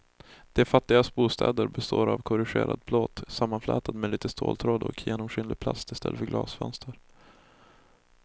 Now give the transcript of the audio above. De fattigas bostäder består av korrugerad plåt sammanflätad med lite ståltråd och genomskinlig plast i stället för glasfönster.